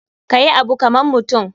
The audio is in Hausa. Kayi Abu kaman mutum.